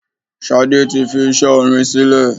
Ṣadé tí fi iṣẹ́ orin sílè.